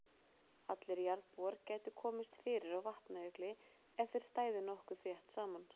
Allir jarðarbúar gætu komist fyrir á Vatnajökli ef þeir stæðu nokkuð þétt saman.